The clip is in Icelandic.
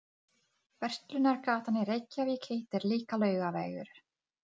Við ætlum að fá tvo latte og eina kökusneið.